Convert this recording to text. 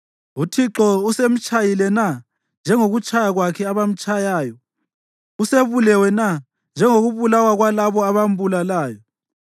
UThixo usemtshayile na njengokutshaya kwakhe abamtshayayo? Usebulewe na njengokubulawa kwalabo abambulalayo?